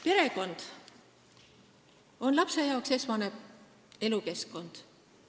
Perekond on lapsele esmane elukeskkond.